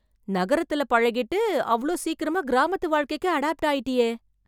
நகரத்துல பழகிட்டு, அவ்ளோ சீக்கிரமா கிராமத்து வாழ்க்கைக்கு அடாப்ட் ஆயிட்டியே !